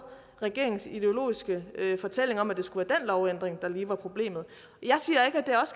regeringens ideologiske fortælling om at det skulle være den lovændring der lige er problemet